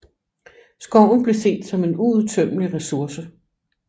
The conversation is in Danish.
Skoven blev set som en uudtømmelig resource